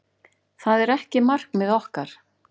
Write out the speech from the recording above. Það er ekki markmið okkar.